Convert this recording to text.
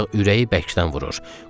Ancaq ürəyi bəkdən vurur.